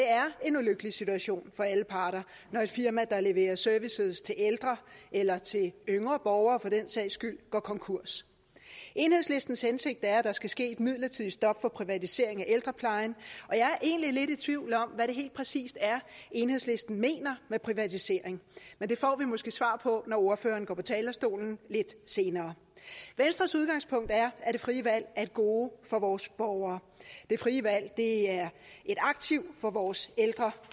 er en ulykkelig situation for alle parter når et firma der leverer serviceydelser til ældre eller til yngre borgere for den sags skyld går konkurs enhedslistens hensigt er at der skal ske et midlertidigt stop for privatisering af ældreplejen og jeg er egentlig i tvivl om hvad det helt præcis er enhedslisten mener med privatisering men det får vi måske svar på når enhedslistens ordfører går på talerstolen lidt senere venstres udgangspunkt er at det frie valg er et gode for vores borgere det frie valg er et aktiv for vores ældre